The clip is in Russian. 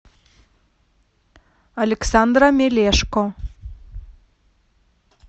александра мелешко